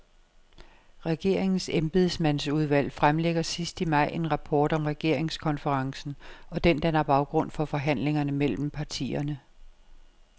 Regeringens embedsmandsudvalg fremlægger sidst i maj en rapport om regeringskonferencen, og den danner baggrund for forhandlingerne mellem partierne.